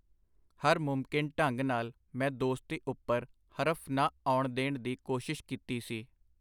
ਹਰ ਮੁਮਕਿਨ ਢੰਗ ਨਾਲ ਮੈਂ ਦੋਸਤੀ ਉਪਰ ਹਰਫ ਨਾ ਆਉਣ ਦੇਣ ਦੀ ਕੋਸ਼ਿਸ਼ ਕੀਤੀ ਸੀ.